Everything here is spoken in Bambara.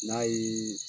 N'a ye